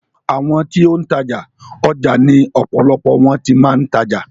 Àwọn ti ó ń tajà, ọjà ni ọ̀pọ̀lọpọ̀ wọn ti máa ń tajà.